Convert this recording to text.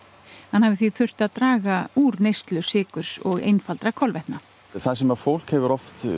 hann hafi því þurft að draga úr neyslu sykurs og einfaldra kolvetna það sem fólk hefur